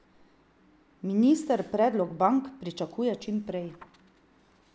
Minister predlog bank pričakuje čim prej.